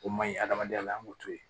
O man ɲi adamadenya la an k'o to yen